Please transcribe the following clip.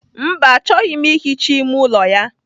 Mba, achọghị m ihicha ime ụlọ ya.